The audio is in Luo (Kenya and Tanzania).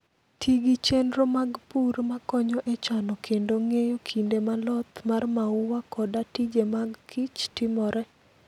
Ti gi chenro mag pur ma konyo e chano kendo ng'eyo kinde ma loth mar mau koda tije mag kich timoree.